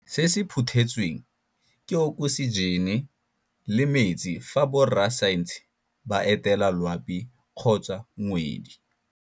Se se phuthetsweng, ke okosijene le metsi fa borra saense ba etela loapi kgotsa ngwedi.